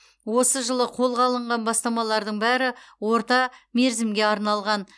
осы жылы қолға алынған бастамалардың бәрі орта мерзімге арналған